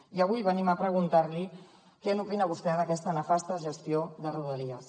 i avui venim a preguntar li què opina vostè d’aquesta nefasta gestió de rodalies